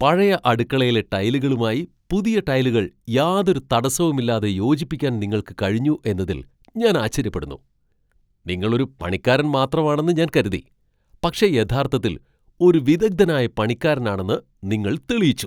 പഴയ അടുക്കളയിലെ ടൈലുകളുമായി പുതിയ ടൈലുകൾ യാതൊരു തടസ്സവുമില്ലാതെ യോജിപ്പിക്കാൻ നിങ്ങൾക്ക് കഴിഞ്ഞു എന്നതിൽ ഞാൻ ആശ്ചര്യപ്പെടുന്നു. നിങ്ങൾ ഒരു പണിക്കാരൻ മാത്രമാണെന്ന് ഞാൻ കരുതി, പക്ഷേ യഥാർത്ഥത്തിൽ ഒരു വിദഗ്ധനായ പണിക്കാരനാണെന്ന് നിങ്ങൾ തെളിയിച്ചു.